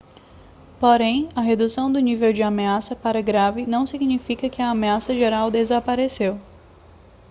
porém a redução do nível de ameaça para grave não significa que a ameaça geral desapareceu